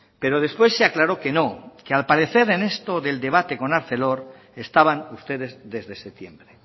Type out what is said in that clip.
pero después se aclaró que no que al parecer en esto del debate con arcelor estaban ustedes desde septiembre